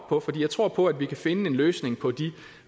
på for jeg tror på at vi kan finde en løsning på de